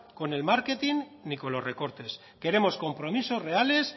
con el marketing ni los recortes queremos compromisos reales